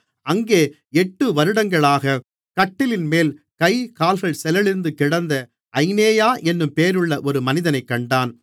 அங்கே எட்டு வருடங்களாக கட்டிலின்மேல் கை கால்கள் செயலிழந்து கிடந்த ஐனேயா என்னும் பேருள்ள ஒரு மனிதனைக் கண்டான்